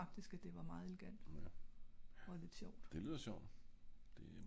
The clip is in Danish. jeg synes faktisk det var meget elegant og meget sjovt